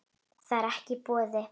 Það er ekki í boði.